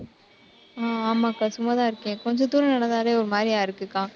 ஹம் ஆமாக்கா சும்மாதான் இருக்கேன். கொஞ்ச தூரம் நடந்தாலே ஒரு மாதிரியா இருக்குக்கா.